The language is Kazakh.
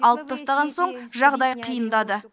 алып тастаған соң жағдай қиындады